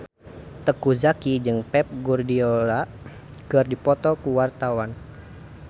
Teuku Zacky jeung Pep Guardiola keur dipoto ku wartawan